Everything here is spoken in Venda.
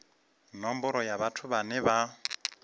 nomboro ya vhathu vhane vha